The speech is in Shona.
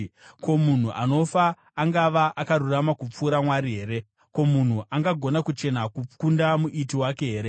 ‘Ko, munhu anofa, angava akarurama kupfuura Mwari here? Ko, munhu angagona kuchena kukunda Muiti wake here?